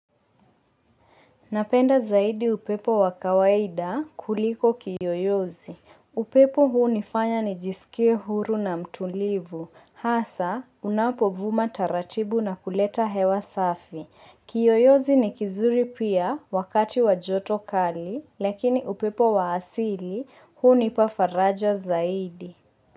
Napenda zaidi upepo wa kawaida kuliko kiyoyozi. Upepo huu hunifanya nijisikie huru na mtulivu. Hasa, unapovuma taratibu na kuleta hewa safi. Kiyoyozi ni kizuri pia wakati wa joto kali, lakini upepo wa asili hunipa faraja zaidi.